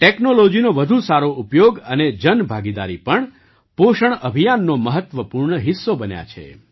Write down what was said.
ટૅકનૉલૉજીનો વધુ સારો ઉપયોગ અને જનભાગીદારી પણ પોષણ અભિયાનનો મહત્ત્વપૂર્ણ હિસ્સો બન્યા છે